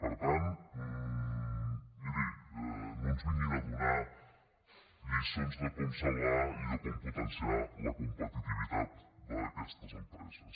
per tant miri no ens vinguin a donar lliçons de com salvar i de com potenciar la competitivitat d’aquestes empreses